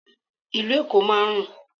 Ìlú Èkó máa ń rùn.